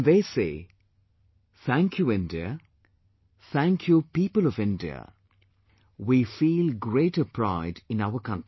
When they say, 'Thank you India, Thank you people of India', we feel greater pride in our country